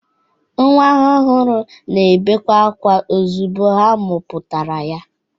Nwa ọhụrụ na-ebekwa ozigbo a mụpụtara ya.